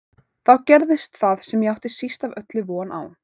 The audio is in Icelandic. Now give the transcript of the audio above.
Þá gerðist það sem ég átti síst af öllu von á.